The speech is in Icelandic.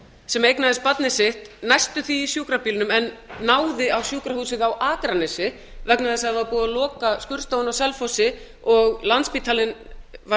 sem eignaðist barnið sitt næstum því i sjúkrabílnum en náði á sjúkrahúsið á akranesi vegna þess að það var búið að loka skurðstofunni á selfossi og landspítalinn var